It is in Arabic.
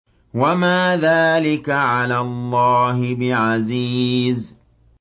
وَمَا ذَٰلِكَ عَلَى اللَّهِ بِعَزِيزٍ